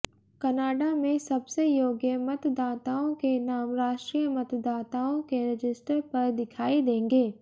Canada में सबसे योग्य मतदाताओं के नाम राष्ट्रीय मतदाताओं के रजिस्टर पर दिखाई देंगे